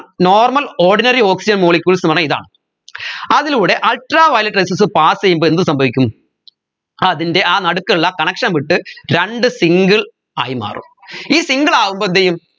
normal ordinary oxygen molecules ന്ന് പറഞ്ഞാ ഇതാണ് അതിലൂടെ ultraviolet rays pass ചെയ്യുമ്പ എന്ത് സംഭവിക്കും അതിൻെറ ആ നടുക്കുള്ള connection വിട്ട് രണ്ട് single ആയി മാറും ഈ single ആവുമ്പൊ എന്തെയ്യും